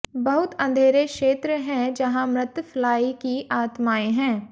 बहुत अंधेरे क्षेत्र हैं जहां मृत फ्लाई की आत्माएं हैं